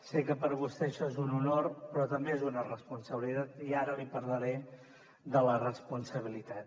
sé que per a vostè això és un honor però també és una responsabilitat i ara li parlaré de la responsabilitat